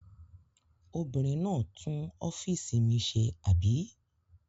Obìnrin náà tún ọ́fíísì mi ṣe, àbí?